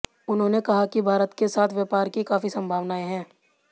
उन्होंने कहा कि भारत के साथ व्यापार की काफी संभावनाएं हैं